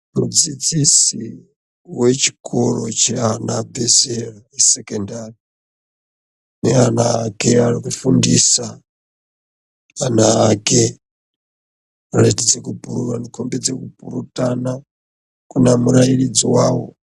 Mudzidzisi wechikora cheana abvezera esekendari neana ake aari kufundisa. Anaake anosisa, anokomba kupurutana kunemurairidzi wawo.